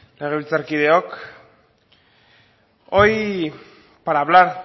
legebiltzarkideok hoy para hablar